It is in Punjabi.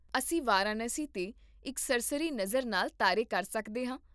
ਅਸੀਂ ਵਾਰਾਣਸੀ 'ਤੇ ਇੱਕ ਸਰਸਰੀ ਨਜ਼ਰ ਨਾਲ ਤਾਰੇ ਕਰ ਸਕਦੇ ਹਾਂ